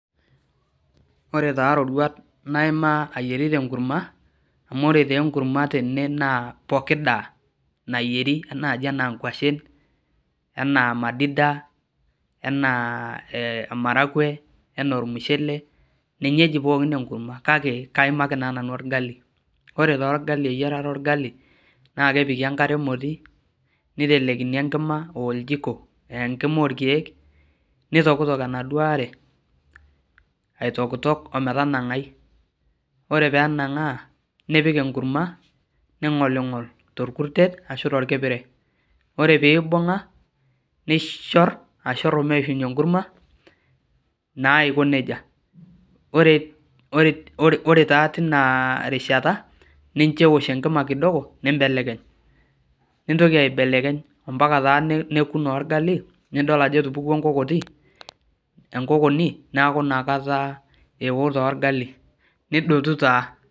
Ore taa iroruat naimaa ayiarita enkurma amuore taa enkurma tene naa pooki daa nayieri naai enaa nkuashen enaa madida enaa ee maragwe enaa ormushelele ninye eji pookin enkurma kake kaimaaki taa nanu orgali, Ore orgali eyiarata orgali naa kepiki enkare emoti niteleikini enkima aa oljiko aa enkima orkeek nitokitok enaduo are aitokitok ometanang'ai Ore pee enang'aa nipik enkurma ningolingol torkutek ashu torkipire Ore pee ibung'a nishor ashorr omeishunye enkurma naa aiko neija Ore taa Tina rishata nincho eosh enkima kidogo nimbelekeny ompaka taa neoku orgali nidol ajo etupukuo enkokoti neeku ina kata eeo naa orgali nidotu naa.